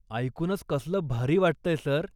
ऐकूनच कसलं भारी वाटतंय, सर.